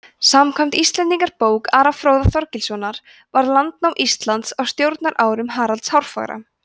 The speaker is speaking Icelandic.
samkvæmt íslendingabók ara fróða þorgilssonar varð landnám íslands á stjórnarárum haralds hárfagra